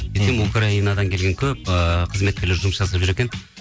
украинадан келген көп ыыы қызметкерлер жұмыс жасап жүр екен